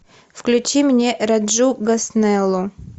включи мне раджу госнеллу